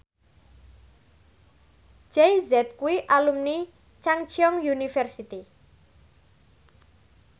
Jay Z kuwi alumni Chungceong University